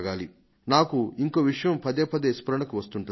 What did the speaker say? నాకు ఇంకో విషయం పదేపదే స్ఫురణకు వస్తుంటుంది